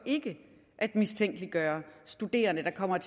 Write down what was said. at mistænkeliggøre studerende der kommer